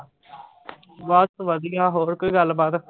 ਬਸ ਵਧੀਆ ਹੋਰ ਕੋਈ ਗੱਲ ਬਾਤ